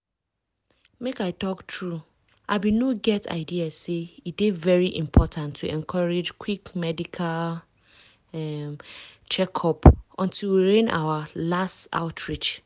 make i talk true i bin no get idea say e dey very important to encourage quick medical um check-up until we rin our last outreach.